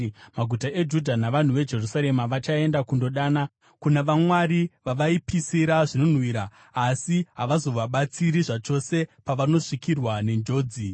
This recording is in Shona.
Maguta eJudha navanhu veJerusarema vachaenda kundodana kuna vamwari vavaipisira zvinonhuhwira, asi havazovabatsiri zvachose pavanosvikirwa nenjodzi.